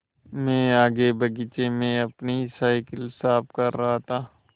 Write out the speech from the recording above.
मैं आगे बगीचे में अपनी साईकिल साफ़ कर रहा था